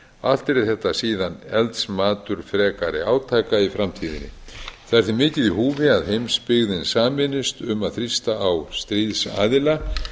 allt yrði þetta síðan eldsmatur frekari átaka í framtíðinni það er því mikið í húfi að heimsbyggðin sameinist um að þrýsta á stríðsaðila að